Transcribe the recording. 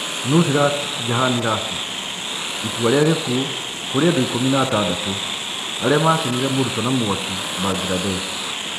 Nusrat Jahan Rafi: Itua ria gikuo kũri andũ ikũmi na atandatũ aria macinire morutwo na mwaki Bangladesh.